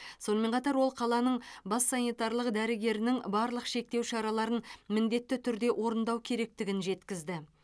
сонымен қатар ол қаланың бас санитарлық дәрігерінің барлық шектеу шараларын міндетті түрде орындау керектігін жеткізді